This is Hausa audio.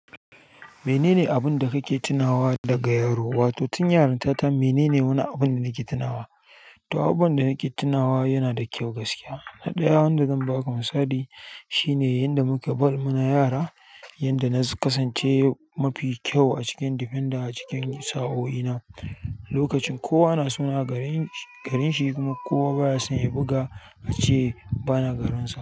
Menene abun da kake tunawa daga yaro, wato tun yaron ta ta menene wani abun da nake tunawa? To, abubuwan da nake tunawa yana da kyau gaskiya. Na ɗaya wanda zan ba ka misali shine yanda muka bal muna yara, yanda na kasance mafi kyau a cikin defender a cikin sa'o'i na, lokacin kowa na suna garin shi kuma kowa baya son ya buga ace bana garinsa.